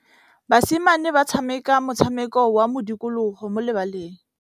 Basimane ba tshameka motshameko wa modikologô mo lebaleng.